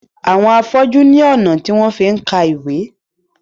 Awon afọju ní ọnà tí wón fí ká ìwé.